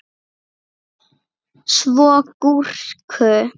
Svo gúrku.